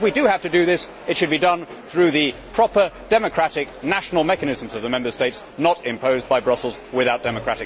Even if we do have to do this, it should be done through the proper democratic national mechanisms of the Member States not imposed by Brussels without democratic consent.